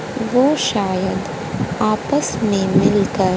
वो शायद आपस में मिलकर--